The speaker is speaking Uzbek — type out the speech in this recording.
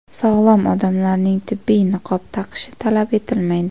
Sog‘lom odamlarning tibbiy niqob taqishi talab etilmaydi.